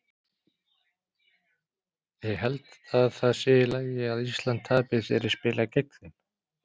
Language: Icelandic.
Ég held að það sé í lagi að Ísland tapi þegar ég spila gegn þeim.